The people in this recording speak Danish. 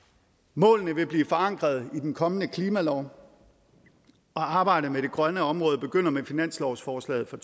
målene vil blive forankret i den kommende klimalov og arbejdet med det grønne område begynder med finanslovsforslaget for